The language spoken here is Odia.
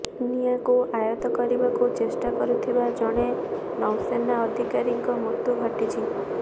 ନିଆଁକୁ ଆୟତ୍ତ କରିବାକୁ ଚେଷ୍ଟା କରୁଥିବା ଜଣେ ନୌସେନା ଅଧିକାରୀଙ୍କ ମୃତ୍ୟୁ ଘଟିଛି